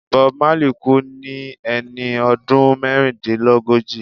Bob Marley kú ní ẹni ọdún mẹ́rìndínlógójì.